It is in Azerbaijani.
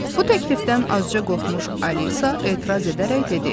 Bu təklifdən azca qorxmuş Alisa etiraz edərək dedi: